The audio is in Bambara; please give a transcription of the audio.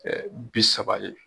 bisaba ye